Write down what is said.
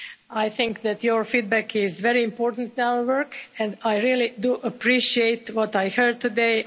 I think that your feedback is very important to our work and I really do appreciate what I heard today.